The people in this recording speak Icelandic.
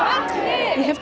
hef